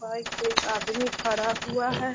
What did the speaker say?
Bike पे एक आदमी ठहरा हुआ है।